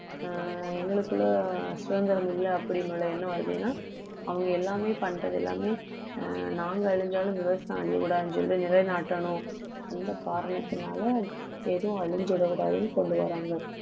ஆஹ் எங்களுக்குள்ள சுதந்திரம் இல்ல அப்படின்னுள்ள எண்ணம் வருது ஏன்னா அவங்க எல்லாமே பண்றது எல்லாமே ஆஹ் நாங்க அழிஞ்சாலும் விவசாயம் அழியக்கூடாதுன்னு சொல்லி நிலைநாட்டணும் அந்த காரணத்தினால எதுவும் அழிஞ்சிடக்கூடாதுன்னு கொண்டு வர்றாங்க